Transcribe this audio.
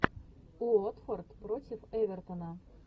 уотфорд против эвертона